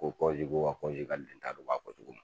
Ko kɔnjige wa kɔnjigal n ta'a dɔn u b'a fɔ cogo min.